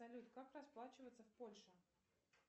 салют как расплачиваться в польше